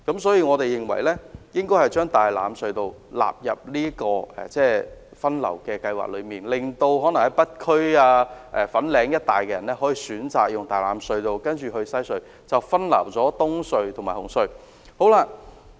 所以，我們認為應把大欖隧道納入這項分流計劃，令北區居民可選擇使用大欖隧道，然後駛經西隧，以分流東隧和紅隧的車流量。